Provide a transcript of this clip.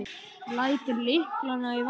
Lætur lyklana í vasann.